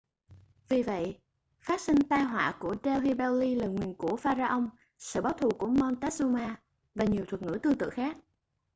vì vậy phát sinh tai họa của delhi belly lời nguyền của pharaoh sự báo thù của montezuma và nhiều thuật ngữ tương tự khác